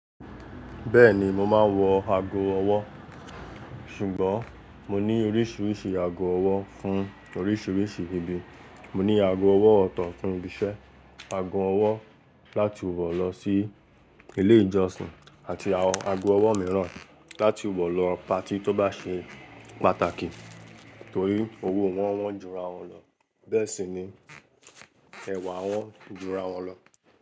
Bẹ́ẹ̀ni mo máa ń wọ ago ọwọ́, ṣùgbọ́n mo ní oríṣìíríṣìí ago ọwọ́ fún oríṣìíríṣìí ibi. Mo ní ago ọwọ́ ọ̀tọ̀ fún ibi iṣẹ́, ago ọwọ́ láti wọ̀ lọ sí ilé ìjọsìn àti ago ọwọ́ mìíràn láti wọ̀ lọ pati tó bá ṣe pàtàkì. Nítorí owó wọn wón jura wọn lọ, bẹ́ẹ̀ sì ni ẹ̀wà wọn jura wọn lọ.